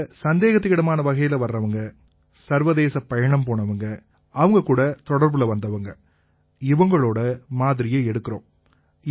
இங்க சந்தேகத்துக்கு இடமான வகையில வர்றவங்க சர்வதேச பயணம் போனவங்க அவங்ககூட தொடர்புல வந்தவங்க இவங்களோட மாதிரியை எடுக்கறோம்